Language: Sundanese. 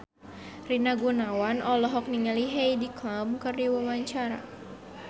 Rina Gunawan olohok ningali Heidi Klum keur diwawancara